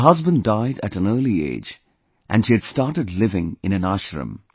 Her husband died at an early age and she had started living in an ashram